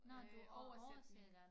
Nå du oversætter